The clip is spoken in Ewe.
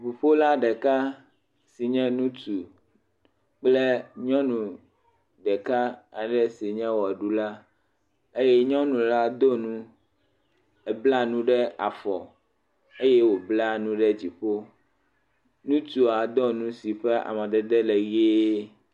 Ŋuƒola ɖeka si nye ŋutsu kple nyɔnu ɖeka aɖe si nye ʋeɖula eye nyɔnu la do nu, ebla nu ɖe afɔ eye wobla nu ɖe dziƒo. Ŋutsua do nu si ƒe amadede le ʋie.